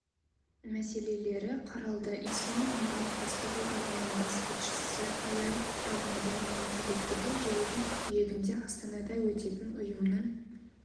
мәселелері қаралды ислам ынтымақтастығы ұйымының бас хатшысы ияд аль-маданимен кездесуде жылдың қыркүйегінде астанада өтетін ұйымның